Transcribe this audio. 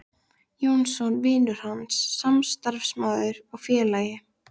Jónsson: vinur hans, samstarfsmaður og félagi.